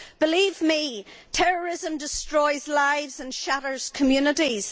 Believe me, terrorism destroys lives and shatters communities.